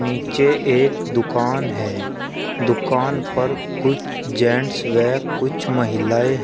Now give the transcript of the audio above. नीचे एक दुकान है दुकान पर कुछ जेंट्स वे कुछ महिलाएं--